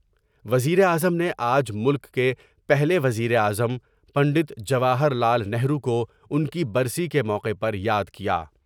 وزیر اعظم نے آج ملک کے پہلے وزیر اعظم پنڈت جواہر لال نہروکوان کی برسی کے موقع پر یادکیا۔